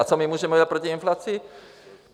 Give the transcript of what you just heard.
A co my můžeme udělat proti inflaci?